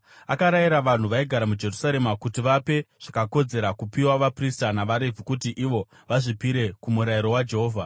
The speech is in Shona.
Akarayira vanhu vaigara muJerusarema kuti vape zvakakodzera kupiwa vaprista navaRevhi kuti ivo vazvipire kuMurayiro waJehovha.